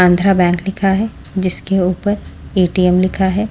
Andhra bank लिखा है जिसके ऊपर ए_टी_एम लिखा है।